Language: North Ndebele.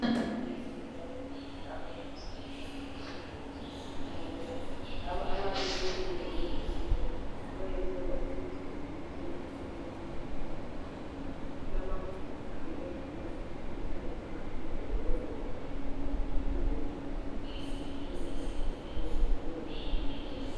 Emakilinika kulabodokotela abalomusa lothando. Abahlala belindile ukulalela labo abayabe bezizwa belohlupho. Abayesaba ukuthi bangalutshela omunye umuntu oseduzane labo. Kulamagumbi abo, elingena, lihlale phakathi lodokotela. Elihlala phansi lodokotela, lixoxisane. Lize liphume lempumela, yalolohlupho oyabe uhlangana lalo.